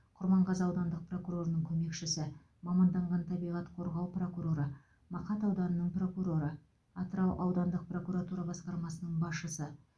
құрманғазы аудандық прокурорының көмекшісі маманданған табиғат қорғау прокуроры мақат ауданының прокуроры атырау аудандық прокуратура басқармасының басшысы